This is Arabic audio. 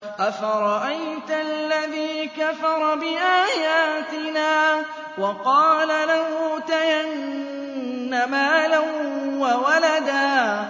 أَفَرَأَيْتَ الَّذِي كَفَرَ بِآيَاتِنَا وَقَالَ لَأُوتَيَنَّ مَالًا وَوَلَدًا